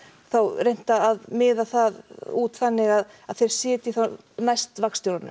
reynt að miða það út þannig að þeir sitji þá næst